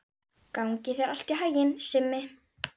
Gangi þér allt í haginn, Simmi.